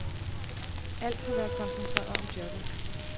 Alt har været koncentreret om jobbet.